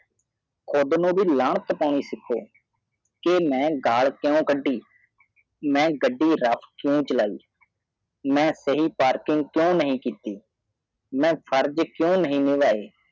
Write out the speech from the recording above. ਖੁਦ ਨੂੰ ਬੀ ਲੰਨਤ ਪਾਣੀ ਸਿਖੋ ਕੇ ਮੈ ਗਾਲ ਕਿਉਂ ਕੱਢੀ ਮੈ ਗਾਡੀ ਰਾਤ ਕਿਉ ਚਾਲੇਨ ਮੈਂ ਸਹੀ ਪਾਰਕ ਕਿਉਂ ਨਹੀਂ ਕੀਤੀ ਮੈਂ ਆਪਣਾ ਫਰਜ਼ ਕਿਉਂ ਨਹੀਂ ਨਿਭਾਇਆ